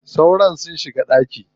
Sauron sun shiga ɗaki.